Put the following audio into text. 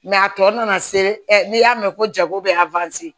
a tɔ nana se n'i y'a mɛn ko jago bɛ